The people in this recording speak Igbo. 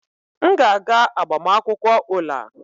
M ga-aga agbamakwụkwọ Ola.